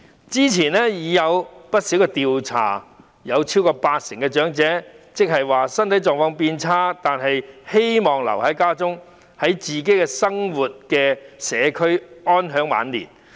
之前已有不少調查顯示，超過八成長者即使身體狀況變差也希望留在家中，在自己生活的社區安享晚年。